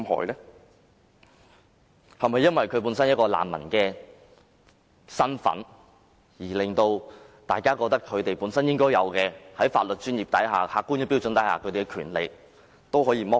是否因為他們的難民身份，令大家認為在法律專業及客觀標準之下，其應有權利可被剝奪？